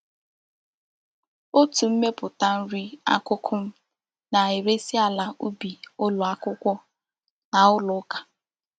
Otu mmeputa nri akuku m na-eresi ala ubi ulo akwukwo na ulo uka.